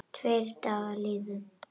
Tveir dagar liðu.